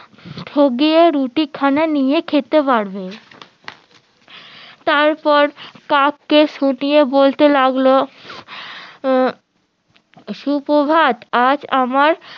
টগিয়ে রুটিখানা নিয়ে খেতে পারবো তারপর কাকে শুনিয়ে বলতে লাগলো উম সুপ্রভাত আজ আমার